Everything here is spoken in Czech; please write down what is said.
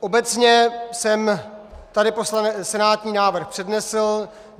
Obecně jsem tady senátní návrh přednesl.